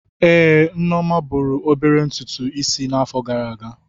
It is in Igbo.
Ee, Nneoma buru obere ntùtù Ịsị n'afo gara aga.